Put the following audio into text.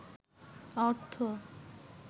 অর্থ